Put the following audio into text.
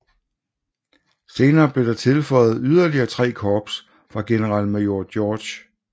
Senere blev der tilføjet yderligere 3 korps fra generalmajor George B